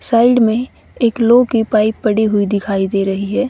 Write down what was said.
Side में एक लोहे की पाइप पड़ी हुई दिखाई दे रही हैं।